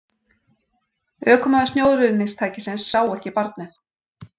Ökumaður snjóruðningstækisins sá ekki barnið